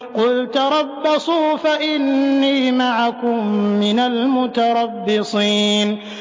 قُلْ تَرَبَّصُوا فَإِنِّي مَعَكُم مِّنَ الْمُتَرَبِّصِينَ